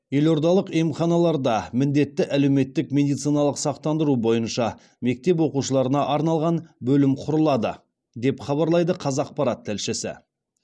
елордалық емханаларда міндетті әлеуметтік медициналық сақтандыру бойынша мектеп оқушыларына арналған бөлім құрылады деп хабарлайды қазақпарат тілшісі